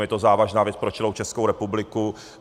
Je to závažná věc pro celou Českou republiku.